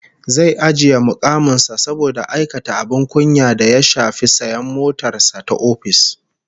Zai ajiye mukamin sa saboda aikata abin kunya da ya shafi sayan motar sa ta ofis